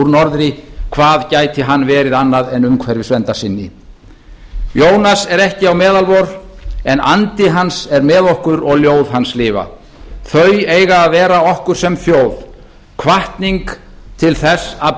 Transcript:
norðri hvað gæti hann verið annað en umhverfisverndarsinni jónas er ekki á meðal vor en andi hans er með okkur og ljóð hans lifa þau eiga að vera okkur sem þjóð hvatning til þess að